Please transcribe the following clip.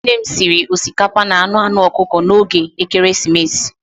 Nne m sịrị osikapa na anụ anụ ọkụkọ n'oge Ekeresimesi.